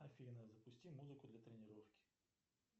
афина запусти музыку для тренировки